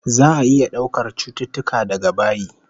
Za'a iya daukar cututtuka daga bayi